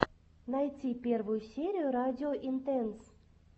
найти первую серию радио интенс